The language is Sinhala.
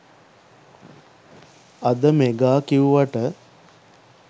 අද මෙගා කිව්වට